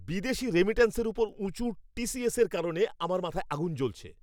বিদেশী রেমিট্যান্সের উপর উঁচু টিসিএসের কারণে আমার মাথায় আগুন জ্বলছে।